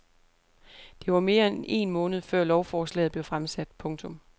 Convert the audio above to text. Det var mere end en måned før lovforslaget blev fremsat. punktum